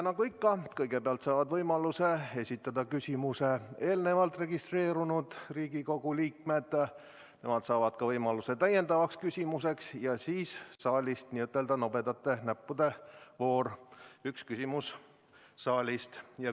Nagu ikka, kõigepealt saavad võimaluse esitada küsimuse eelnevalt registreerunud Riigikogu liikmed, nemad saavad võimaluse ka täiendavaks küsimuseks ja siis on n-ö nobedate näppude voor, üks küsimus saalist.